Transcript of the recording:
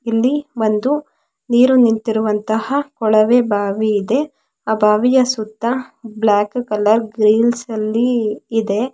ಇಲ್ಲಿ ಒಂದು ನೀರು ನಿಂತಿರುವಂತಹ ಕೊಳವೆ ಬಾವಿ ಇದೆ ಆ ಬಾವಿಯ ಸುತ್ತ ಬ್ಲಾಕ್ ಕಲರ್ ಗ್ರಿಲ್ಸ್ಅಲ್ಲಿ ಇದೆ --